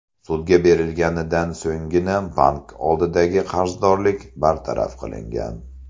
Sudga berilganidan so‘nggina bank oldidagi qarzdorlik bartaraf qilingan.